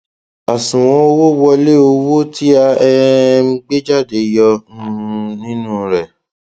àṣùwọn owó wọlé owó tí a um gbé jáde yọ um nínú rẹ